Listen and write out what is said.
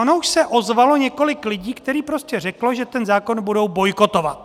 Ono už se ozvalo několik lidí, kteří prostě řekli, že ten zákon budou bojkotovat.